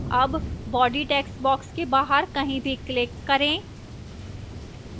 अब body textbox के बाहर कहीं भी click करें